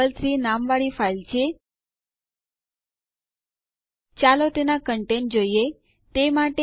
file દ્વારા લીધેલ જગ્યા ચકાસવા માટે ડીયુ આદેશ